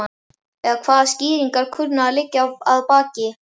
En hvaða skýringar kunna að liggja að baki?